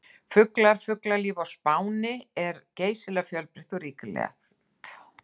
Fuglar: Fuglalíf á Spáni er geysilega fjölbreytt og ríkulegt.